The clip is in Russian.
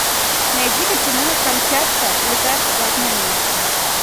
найди ка кино камчатка лекарство от ненависти